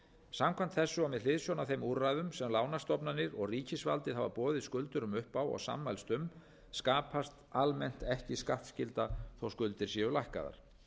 samkvæmt þessu og með hliðsjón af þeim úrræðum sem lánastofnanir og ríkisvaldið hafa boðið skuldurum upp á og sammælst um skapast almennt ekki skattskylda þótt skuldir séu lækkaðar